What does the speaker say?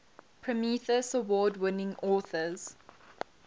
prometheus award winning authors